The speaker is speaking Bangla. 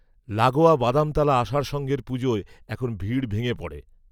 লাগোয়া বাদামতলা আষাঢ় সঙ্ঘের পুজোয় এখন ভিড় ভেঙে পড়ে